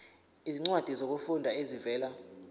izincwadi zokufunda ezivela